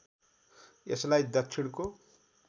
यसलाई दक्षिणको